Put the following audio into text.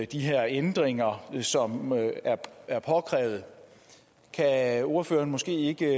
de her ændringer som er påkrævet kan ordføreren måske ikke